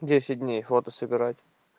десять дней фото собирать